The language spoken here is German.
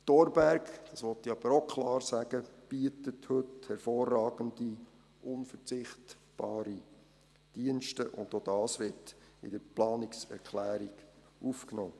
Der Thorberg – dies will ich aber auch klar sagen – bietet heute hervorragende unverzichtbare Dienste, und auch dies wird in der Planungserklärung aufgenommen.